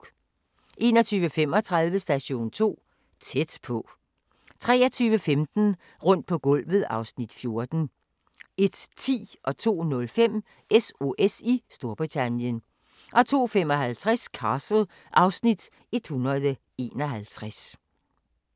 21:35: Station 2: Tæt på 23:15: Rundt på gulvet (Afs. 14) 01:10: SOS i Storbritannien 02:05: SOS i Storbritannien 02:55: Castle (Afs. 151)